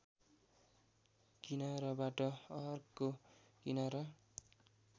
किनाराबाट अर्को किनारा